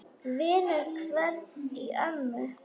Vinnu hvein í ömmu.